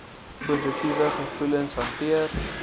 positiewe gevoelens hanteer